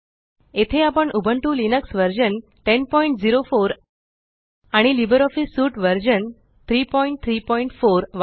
येथे आपण Ubuntu Linux version 1004 आणि लिब्रिऑफिस सूट व्हर्शन 334